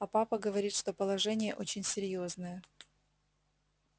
а папа говорит что положение очень серьёзное